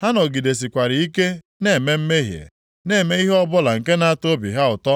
ha nọgidesikwara ike na-eme mmehie, na-eme ihe ọbụla nke na-atọ obi ha ụtọ.